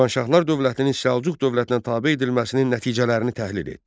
Şirvanşahlar dövlətinin Səlcuq dövlətinə tabe edilməsinin nəticələrini təhlil et.